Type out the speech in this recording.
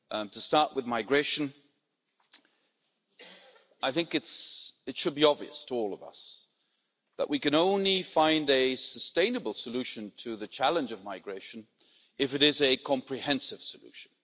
To start with migration, it should be obvious to all of us that we can only find a sustainable solution to the challenge of migration if it is a comprehensive solution.